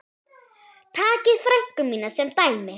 Takið frænku mína sem dæmi.